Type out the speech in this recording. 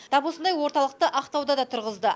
тап осындай орталықты ақтауда да тұрғызды